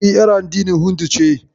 E, yar addinin Hindu ce.